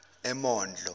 emondlo